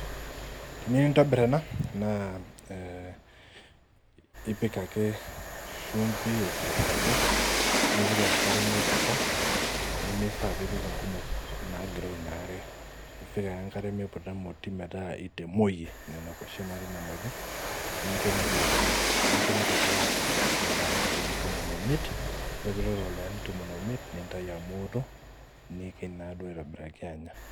Tenikintobir ena na ipik ake shumbi aitobiraki nimifaa pipik nkumok nincho mitootua ildakani tomon omiet nikiny naaduo aitobiraki anya